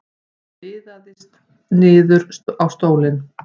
Hún liðast niður á stólinn.